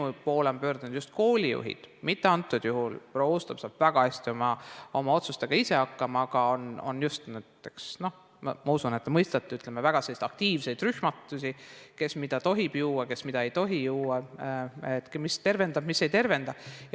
Minu poole on pöördunud just koolijuhid, mitte antud juhul proua Uustalu, kes saab väga hästi oma otsustega ise hakkama, aga on – ma usun, et te mõistate – väga aktiivseid rühmitusi teemal, kes mida tohib juua, kes mida ei tohi juua, mis tervendab ja mis ei tervenda.